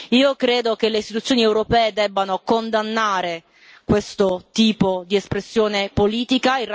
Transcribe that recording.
Io credo che le Istituzioni europee debbano condannare questo tipo di espressione politica.